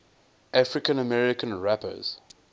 african american rappers